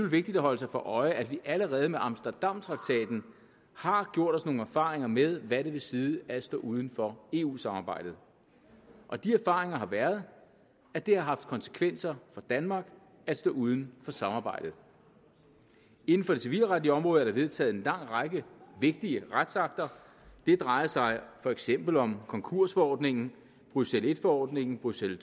vigtigt at holde sig for øje at vi allerede med amsterdamtraktaten har gjort os nogle erfaringer med hvad det vil sige at stå uden for eu samarbejdet og de erfaringer har været at det har haft konsekvenser for danmark at stå uden for samarbejdet inden for det civilretlige område er der vedtaget en lang række vigtige retsakter det drejer sig for eksempel om konkursforordningen bruxelles i forordningen bruxelles